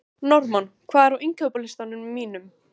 Normann, hvað er á innkaupalistanum mínum?